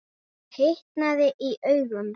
Og hitnaði í augum.